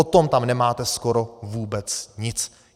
O tom tam nemáte skoro vůbec nic.